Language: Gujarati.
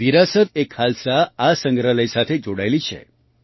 વિરાસત એ ખાલસા આ સંગ્રહાલય સાથે જોડાયેલી છે